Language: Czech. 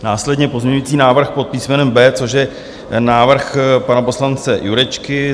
Následně pozměňovací návrh pod písmenem B, což je návrh pana poslance Jurečky.